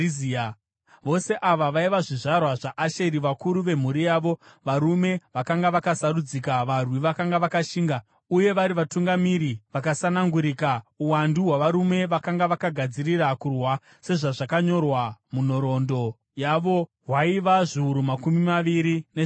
Vose ava vaiva zvizvarwa zvaAsheri, vakuru vemhuri yavo, varume vakanga vakasarudzika, varwi vakanga vakashinga uye vari vatungamiri vakasanangurika. Uwandu hwavarume vakanga vakagadzirira kurwa sezvazvakanyorwa munhoroondo yavo hwaiva zviuru makumi maviri nezvitanhatu.